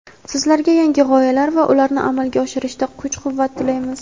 Sizlarga yangi g‘oyalar va ularni amalga oshirishda kuch-quvvat tilaymiz!.